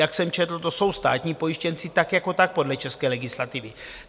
Jak jsem četl, to jsou státní pojištěnci tak jako tak podle české legislativy.